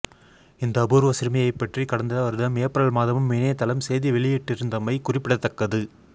இந்த அபூர்வ சிறுமியைப்பற்றி கடந்த வருடம் ஏப்ரல் மாதமும் இணையத்தளம் செய்தி வெளியிட்டிருந்தமை குறிப்பிடத்தக்கது